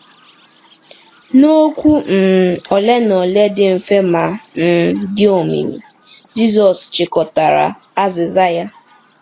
N'okwu um ole na ole dị mfe ma um dị omimi, Jizọs chịkọtara azịza ya.